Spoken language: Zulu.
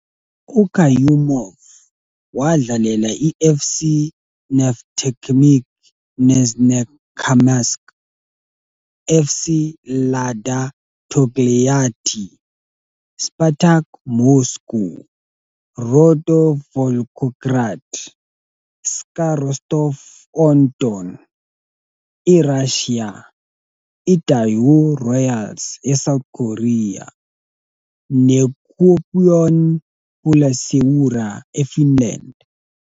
UKayumov wadlalela iFC Neftekhimik Nizhnekamsk, FC Lada Togliatti, Spartak Moscow, Rotor Volgograd, SKA Rostov-on-Don, eRussia, iDaewoo Royals eSouth Korea, neKuopion Palloseura eFinland.